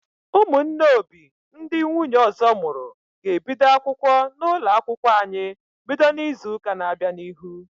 Ụmụnne Obi ndị nwunye ọzọ mụrụ ga ebido akwụkwọ n'ụlọ akwụkwọ anyị bido n'izuka na bịa n'ihu